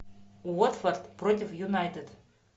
уотфорд против юнайтед